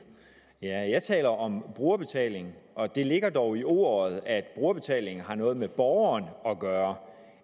ja jeg taler om brugerbetaling og det ligger dog i ordet at brugerbetaling har noget med borgeren at gøre